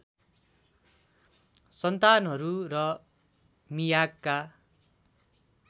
सन्तानहरू र मियागका